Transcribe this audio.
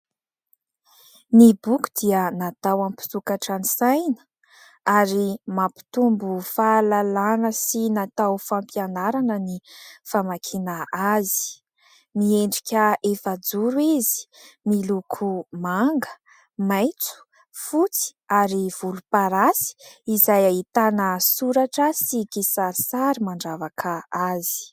Ny boky dia natao am-mpisokatra ny saina ary mampitombo fahalalàna sy natao fampianarana ny famakiana azy, miendrika efajoro izy, miloko manga, maitso, fotsy ary volomparasy, izay ahitana soratra sy kisarisary mandravaka azy.